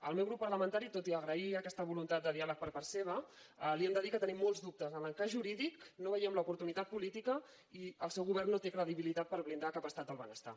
el meu grup parlamentari tot i agrair aquesta voluntat de diàleg per part seva li hem de dir que tenim molt dubtes en l’encaix jurídic no en veiem l’oportunitat política i el seu govern no té credibilitat per blindar cap estat del benestar